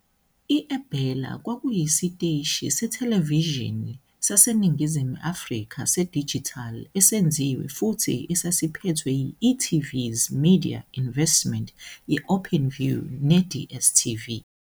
I-eBella kwakuyisiteshi sethelevishini saseNingizimu Afrika sedijithali esenziwe futhi esasiphethwe yi-e.tv 's eMedia Investment ye- Openview ne- DStv.